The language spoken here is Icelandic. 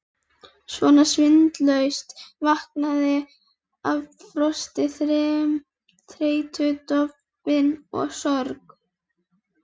Svona sinnulaus, vankaður af frosti, þreytu, dofinn af sorg.